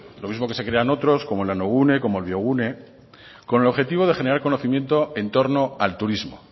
lo mismo que se crean otros como el nanogune o el biogune con el objetivo de generar conocimiento en torno al turismo